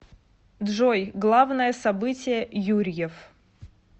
джой главное событие юрьев